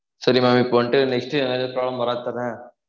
சரி mam இப்போவன்ட்டு next எதுனாவது problem வராது தான